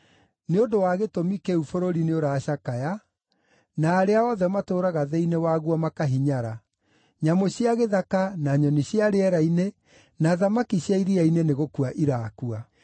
Nĩ ũndũ wa gĩtũmi kĩu bũrũri nĩũracakaya, na arĩa othe matũũraga thĩinĩ waguo makahinyara; nyamũ cia gĩthaka, na nyoni cia rĩera-inĩ, na thamaki cia iria-inĩ nĩgũkua irakua.